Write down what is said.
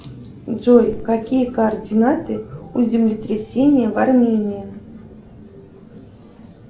джой какие координаты у землетрясения в армении